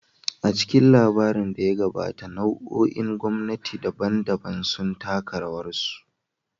A cikin labarin da ya gabata, nau'o'in gwamnati daban-daban sun taka rawarsu.